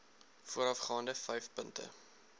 voorafgaande vyf punte